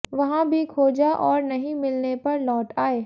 वहां भी खोजा और नहीं मिलने पर लौट आए